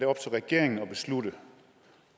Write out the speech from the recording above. op til regeringen at beslutte